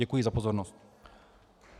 Děkuji za pozornost.